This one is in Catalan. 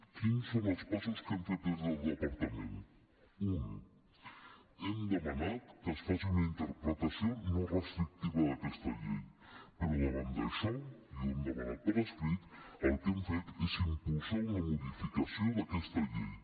quines són les passes que hem fet des del departament un hem demanat que es faci una interpretació no restrictiva d’aquesta llei però davant d’això i ho hem demanat per escrit el que hem fet és impulsar una modificació d’aquesta llei